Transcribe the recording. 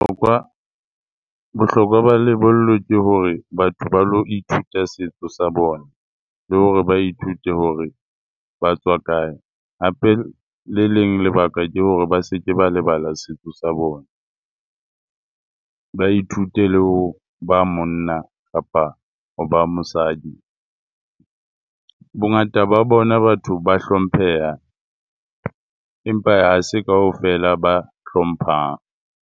Bohlokwa ba lebollo ke hore, batho ba lo ithuta setso sa bona le hore ba ithute hore ba tswa kae. Hape le leng lebaka ke hore ba se ke ba lebala setso sa bona ba ithute le ho ba monna kapa ho ba mosadi. Bongata ba bona batho ba hlompheha, empa ha se kaofela ba hlomphang.